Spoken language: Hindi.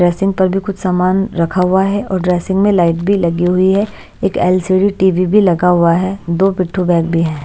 ड्रेसिंग पर भी कुछ सामान रखा हुआ है और ड्रेसिंग में लाइट भी लगी हुई है एक एल_सी_डी टी_वी भी लगा हुआ है दो पिठू बैग भी हैं।